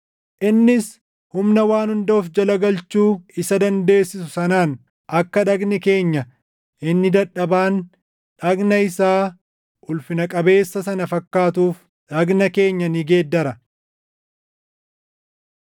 innis humna waan hunda of jala galfachuu isa dandeessisu sanaan akka dhagni keenya inni dadhabaan dhagna isaa ulfina qabeessa sana fakkaatuuf dhagna keenya ni geeddara.